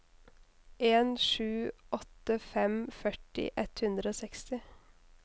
en sju åtte fem førti ett hundre og seksti